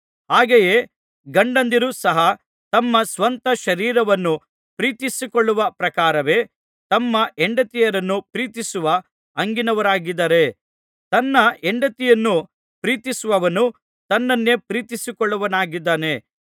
ಹಾಗೆಯೇ ಗಂಡದಿರು ಸಹ ತಮ್ಮ ಸ್ವಂತ ಶರೀರವನ್ನು ಪ್ರೀತಿಸಿಕೊಳ್ಳುವ ಪ್ರಕಾರವೇ ತಮ್ಮ ಹೆಂಡತಿಯರನ್ನು ಪ್ರೀತಿಸುವ ಹಂಗಿನವರಾಗಿದ್ದಾರೆ ತನ್ನ ಹೆಂಡತಿಯನ್ನು ಪ್ರೀತಿಸುವವನು ತನ್ನನ್ನೇ ಪ್ರೀತಿಸಿಕೊಳ್ಳುವವನಾಗಿದ್ದಾನೆ